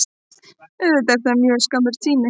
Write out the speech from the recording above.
Auðvitað er það mjög skammur tími